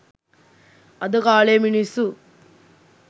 අද කාලේ මිනිස්සු